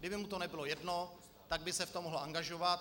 Kdyby mu to nebylo jedno, tak by se v tom mohl angažovat.